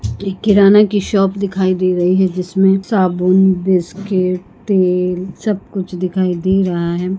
एक किराना की शॉप दिखाई दे रही हैं जिसमें साबुन बिस्कीट तेल सब कुछ दिखाई दे रहा है।